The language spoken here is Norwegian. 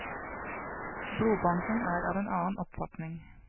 Blodbanken er av en annen oppfatning.